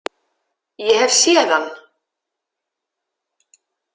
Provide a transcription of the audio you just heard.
Ég hef séð hann.